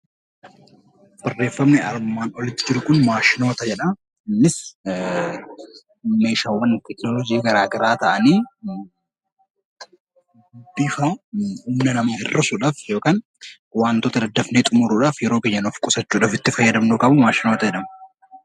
Barreeffamni armaan olitti jiru kun 'Maashinoota' jedha. Innis meeshaawwan Teekinooloojii garaa garaa ta'anii bifa humna namaa hir'isuu dhaaf yookaan waantota daddafnee xumuruu dhaaf yeroo keenya nuuf qusachuu dhaaf itti fayyadamnu kamuu 'Maashinoota' jedhamu.